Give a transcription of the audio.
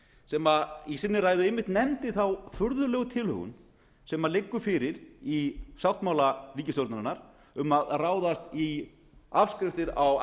sem einmitt í sinni ræðu nefndi þá furðulegu tilhögun sem liggur fyrir í sáttmála ríkisstjórnarinnar um að ráðast í afskriftir á